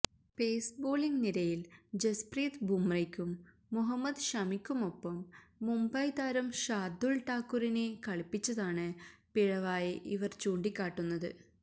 pace bowling നിരയിൽ ജസ്പ്രീത് ബുമ്രയ്ക്കും മുഹമ്മദ് ഷമിക്കുമൊപ്പം മുംബൈ താരം ഷാർദുൽ ഠാക്കൂറിനെ കളിപ്പിച്ചതാണ് പിഴവായി ഇവർ ചൂണ്ടിക്കാട്ടുന്നത്